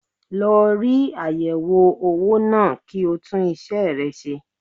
Lọ rí ayẹwo owó náà kí o tún isẹ rẹ ṣe.